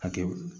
Hakɛ